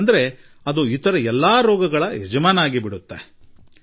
ಏಕಂದರೆ ಅದು ಉಳಿದೆಲ್ಲಾ ರೋಗಗಳಿಗೆ ಯಜಮಾನನಾಗಿಬಿಡುತ್ತದೆ